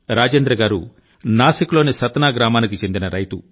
రాజేంద్ర గారు నాసిక్ లోని సత్నా గ్రామానికి చెందిన రైతు